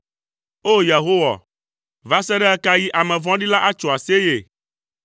O! Yehowa, va se ɖe ɣe ka ɣi ame vɔ̃ɖi la atso aseye?